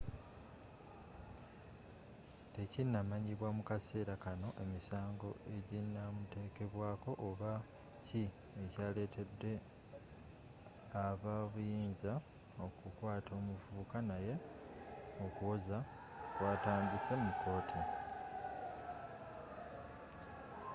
tekinnamanyibwa mu kaseera kanno emisango ejinamuteekebwako oba ki ekya lettedde aba ebyobuyinza okukwaata omuvubuka naye okuwoza kwatandise mu kooti